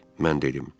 Mən dedim.